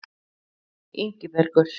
Ingibergur